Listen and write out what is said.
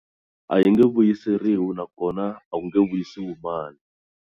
A yi nge vuyiseriwi nakona a ku nge viyisiwi mali.